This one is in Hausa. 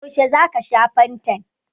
Yaushe za ka sha fantan?